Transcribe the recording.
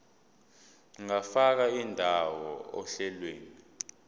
ungafaka indawo ohlelweni